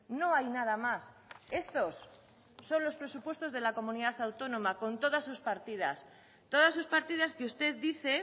no hay nada más estos son los presupuestos de la comunidad autónoma con todas sus partidas todas sus partidas que usted dice